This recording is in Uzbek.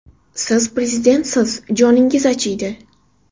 Siz prezidentsiz, joningiz achiydi.